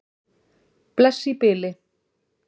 Bless í bili.